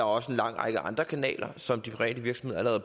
også en lang række andre kanaler som de private virksomheder